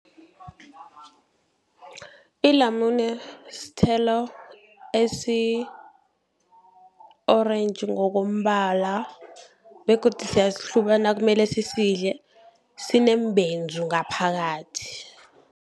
Ilamune sithelo esi-orentji ngokombala begodu siyasihluba nakumele sisidle sineembenzu ngaphakathi.